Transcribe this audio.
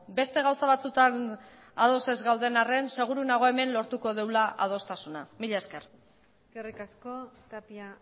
beste gauza batzutan ados ez gauden arren seguru nago hemen lortuko dugula adostasuna mila esker eskerrik asko tapia